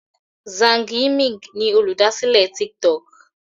Zhang Yiming ni Olùdásílẹ̀ tik tok.